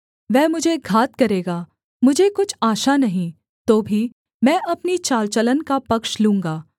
वह मुझे घात करेगा मुझे कुछ आशा नहीं तो भी मैं अपनी चालचलन का पक्ष लूँगा